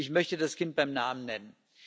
Ich möchte das Kind beim Namen nennen.